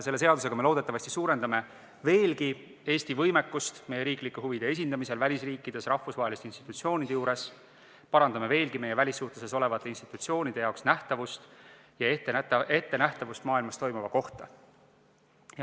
Selle seadusega me loodetavasti suurendame veelgi Eesti võimekust meie riigi huvide esindamisel välisriikides ja rahvusvaheliste institutsioonide juures, parandame veelgi meie välissuhtluses olevate institutsioonide nähtavust ja nende ettenägemisvõimet, mis maailmas toimub.